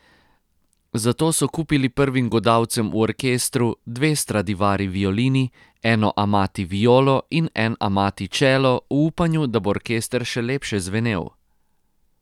Zato so kupili prvim godalcem v orkestru dve Stradivari violini, eno Amati violo in en Amati čelo v upanju, da bo orkester še lepše zvenel.